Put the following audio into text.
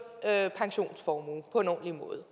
pensionsformue på en ordentlig måde